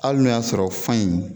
Ali n'o y'a sɔrɔ fan in